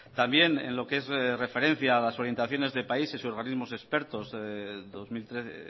también en lo que es de referencia a las orientaciones de países y organismos expertos dos mil trece